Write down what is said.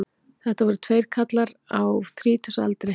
Þetta voru tveir karlar á þrítugsaldri